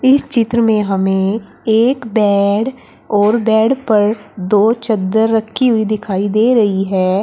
इस चित्र में हमें एक बेड और बेड पर दो चद्दर रखी हुई दिखाई दे रही है।